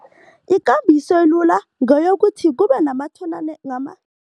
Ikambiso elula ngeyokuthi kube nama nama